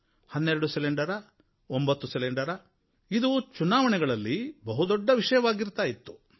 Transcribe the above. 12 ಸಿಲಿಂಡರಾ 9 ಸಿಲಿಂಡರಾ ಇದು ಚುನಾವಣೆಗಳಲ್ಲಿ ಬಹುದೊಡ್ಡ ವಿಷಯವಾಗಿರ್ತಾ ಇತ್ತು